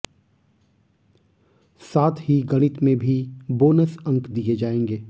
साथ ही गणित में भी बोनस अंक दिए जाएंगे